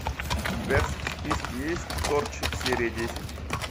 у тебя в списке есть торчвуд серия десять